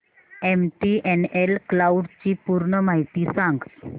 MTNL cloud ची पूर्ण माहिती सांग